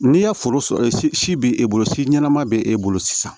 N'i ya foro si b'e bolo si ɲɛnama bɛ e bolo sisan